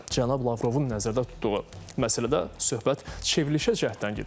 Cənab Lavrovun nəzərdə tutduğu məsələdə söhbət çevrilişə cəhddən gedir.